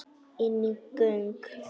Inní göng.